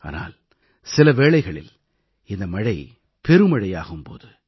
ஆனால் சில வேளைகளில் இந்த மழை பெருமழையாகும் போது